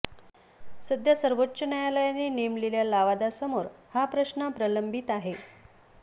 सध्या सर्वोच्च न्यायालयाने नेमलेल्या लवादासमोर हा प्रश्न प्रलंबित आहे